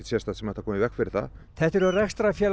sem ætti að koma í veg fyrir það þetta eru rekstrarfélag